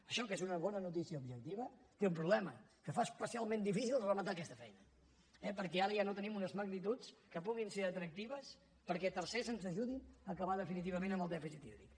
això que és una bona noticia objectiva té un problema que fa especialment difícil rematar aquesta feina perquè ara ja no tenim unes magnituds que puguin ser atractives perquè tercers ens ajudin a acabar definitivament amb el dèficit hídric